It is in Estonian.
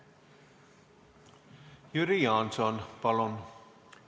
Jüri Jaanson, palun!